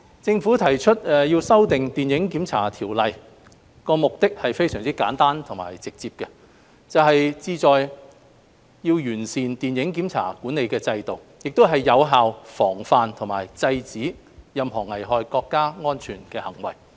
政府提出修訂《電影檢查條例》，目的非常簡單直接，就是旨在完善電影檢查規管制度，以及更有效防範和制止任何危害國家安全的行為。